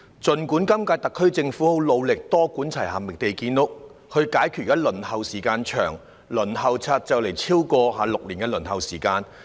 儘管今屆特區政府很努力多管齊下，覓地建屋，以解決現時公共房屋輪候時間長——公屋輪候冊的輪候時間即將超過6年。